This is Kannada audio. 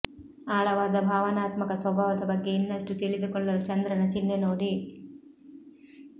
ಆಳವಾದ ಭಾವನಾತ್ಮಕ ಸ್ವಭಾವದ ಬಗ್ಗೆ ಇನ್ನಷ್ಟು ತಿಳಿದುಕೊಳ್ಳಲು ಚಂದ್ರನ ಚಿಹ್ನೆ ನೋಡಿ